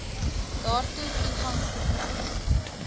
daartoe toegang verkry